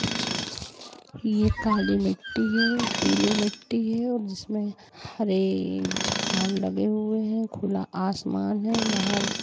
ये काली मिट्टी है पीले मिट्टी है और जिसमें हरे झाड़ लगे हुए हैं खुला आसमान है बाहर--